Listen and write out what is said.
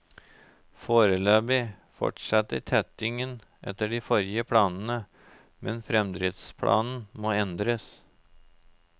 Foreløpig fortsetter tettingen etter de forrige planene, men fremdriftsplanen må endres.